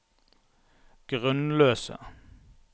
grunnløse